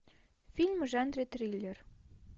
фильм в жанре триллер